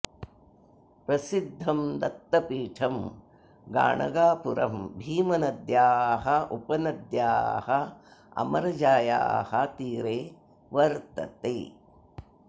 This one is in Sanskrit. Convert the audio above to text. प्रसिद्धं दत्तपीठं गाणगापुरं भीमनद्याः उपनद्याः अमरजायाः तीरे वर्तते